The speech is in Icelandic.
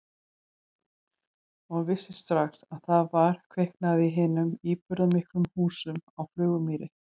Og vissi strax að það var kviknað í hinum íburðarmiklu húsum á Flugumýri.